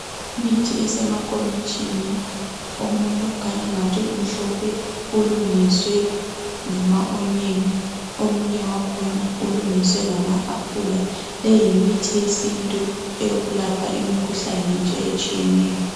Imithi esemankomitshini. Omunye ukhanya angathi umhlophe, ulungiswe ngama"onion".Omunye wakhona ulungiswe ngama aphula. Leyi yimithi yesintu eyokulapha imikhuhlane nje etshiyeneyo.